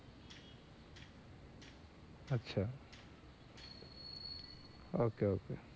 আচ্ছা okay okay